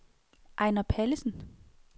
Ejnar Pallesen